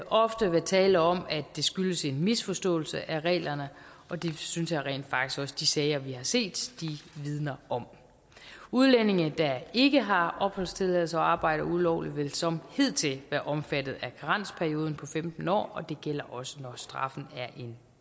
ofte være tale om at det skyldes en misforståelse af reglerne og det synes jeg rent faktisk også de sager vi har set vidner om udlændinge der ikke har opholdstilladelse og arbejder ulovligt vil som hidtil være omfattet af karensperioden på femten år og det gælder også når straffen er en